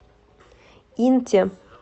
инте